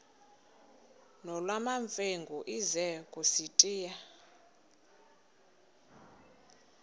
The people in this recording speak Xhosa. nolwamamfengu ize kusitiya